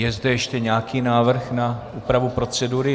Je zde ještě nějaký návrh na úpravu procedury?